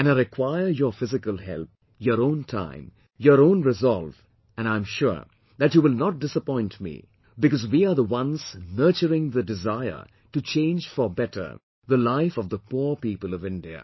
And I require your physical help, your own time, your own resolve and I am sure that you will not disappoint me because we are the ones nurturing the desire to change for better the life of the poor people of India